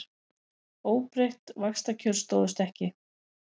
Óbreytt vaxtakjör stóðust ekki